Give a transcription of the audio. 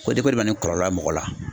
O de bɛ na ni kɔlɔlɔ mɔgɔ la